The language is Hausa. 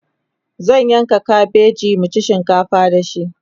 zan yanka kabeji mu ci shinkafa da shi